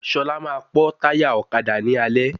Ṣọlá ma pọ́ táyà ọ̀kadà ní alẹ́